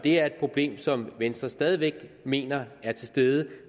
det er et problem som venstre stadig væk mener er til stede